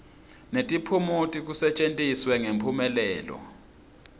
netiphumuti kusetjentiswe ngemphumelelo